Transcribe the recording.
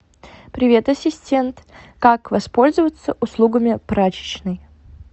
привет ассистент как воспользоваться услугами прачечной